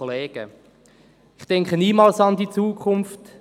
«Ich denke niemals an die Zukunft.